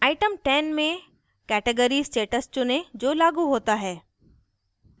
item 10 में category status चुनें जो लागू होता है